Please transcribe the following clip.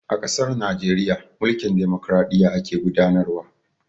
A ƙasar Najeriya, mulkin dimokraɗiyya ake gudanar wa.